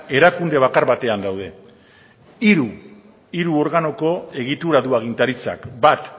erakunde bakar batean daude hiru organoko egitura du agintaritzak bat